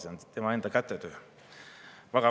See on tema enda kätetöö!